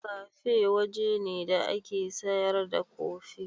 Kafe waje ne da ake sayar da kofi.